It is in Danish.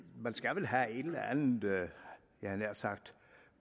man skal vel have et eller andet jeg havde nær sagt